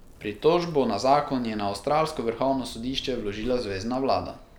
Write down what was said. Pritožbo na zakon je na avstralsko vrhovno sodišče vložila zvezna vlada.